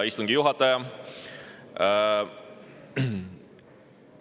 Hea istungi juhataja!